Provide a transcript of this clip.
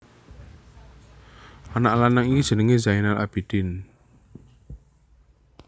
Anak lanang iki jenengé Zainal Abidin